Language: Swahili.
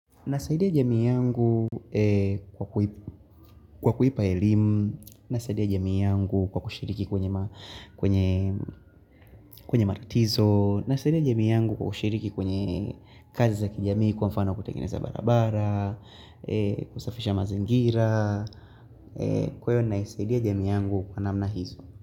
Nasaidia jamii yangu kwa kuipa elimu, nasaidia jamii yangu kwa kushiriki kwenye kwenye matatizo, nasaidia jamii yangu kwa kushiriki kwenye kazi za kijamii kwa mfano kutengeneza barabara, kusafisha mazingira, kwa hio naisaidia jamii yangu kwa namna hizo.